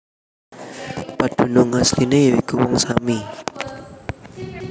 Padunung asliné ya iku Wong Sami